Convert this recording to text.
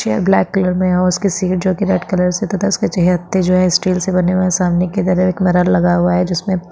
chair black colour में है उसकी सीट जो की रेड कलर की उसके जो है स्टील से बने हुए है सामने की तरफ एक मिरर लगा हुआ है जिसमे--